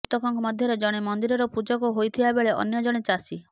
ମୃତକଙ୍କ ମଧ୍ୟରେ ଜଣେ ମନ୍ଦିରର ପୂଜକ ହୋଇଥିବା ବେଳେ ଅନ୍ୟ ଜଣେ ଚାଷୀ